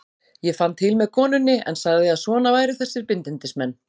Ég fann til með konunni en sagði að svona væru þessir bindindismenn.